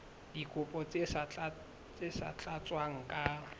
dikopo tse sa tlatswang ka